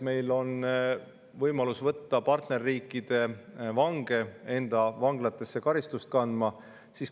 Meil on võimalus võtta partnerriikide vange enda vanglatesse karistust kandma.